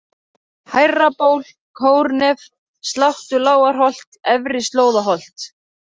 Hærraból, Kórnef, Sláttulágarholt, Efri-Slóðaholt